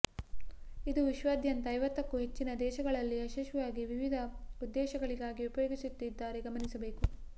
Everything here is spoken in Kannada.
ಇದು ವಿಶ್ವದಾದ್ಯಂತ ಐವತ್ತಕ್ಕೂ ಹೆಚ್ಚಿನ ದೇಶಗಳಲ್ಲಿ ಯಶಸ್ವಿಯಾಗಿ ವಿವಿಧ ಉದ್ದೇಶಗಳಿಗಾಗಿ ಉಪಯೋಗಿಸುತ್ತಿದ್ದಾರೆ ಗಮನಿಸಬೇಕು